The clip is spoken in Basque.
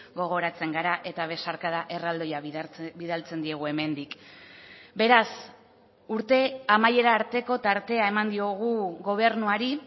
gogoratzen gara eta besarkada erraldoia bidaltzen diegu hemendik beraz urte amaiera arteko tartea eman diogu gobernuari